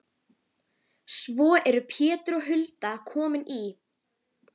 Svo eru Pétur og Hulda komin í